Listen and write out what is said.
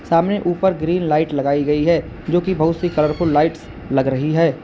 सामने उपर green light लगाई गई है जोकि बहुत सी कलरफुल लाइट्स लग रही है।